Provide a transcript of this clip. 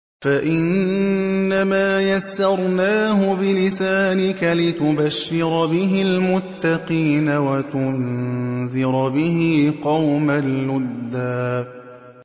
فَإِنَّمَا يَسَّرْنَاهُ بِلِسَانِكَ لِتُبَشِّرَ بِهِ الْمُتَّقِينَ وَتُنذِرَ بِهِ قَوْمًا لُّدًّا